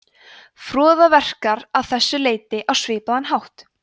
froða verkar að þessu leyti á svipaðan hátt